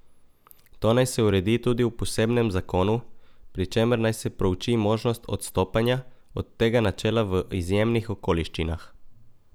To naj se uredi tudi v posebnem zakonu, pri čemer naj se prouči možnost odstopanja od tega načela v izjemnih okoliščinah.